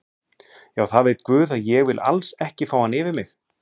Já það veit guð að ég vil alls ekki fá hann yfir mig.